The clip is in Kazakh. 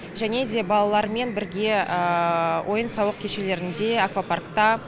және де балалармен бірге ойын сауық кешелерінде аквапаркта